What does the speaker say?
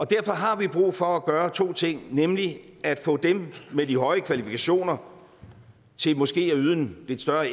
derfor har vi brug for at gøre to ting nemlig at få dem med de høje kvalifikationer til måske at yde en lidt større